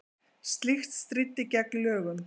Slíkt stríddi gegn lögum